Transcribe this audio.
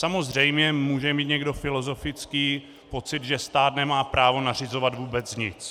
Samozřejmě může mít někdo filozofický pocit, že stát nemá právo nařizovat vůbec nic.